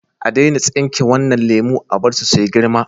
A daina tsinke wadannan lemu, a bar su su yi girma.